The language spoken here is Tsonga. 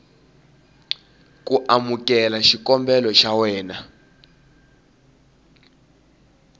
ku amukela xikombelo xa wena